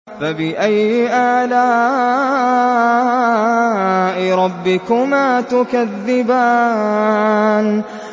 فَبِأَيِّ آلَاءِ رَبِّكُمَا تُكَذِّبَانِ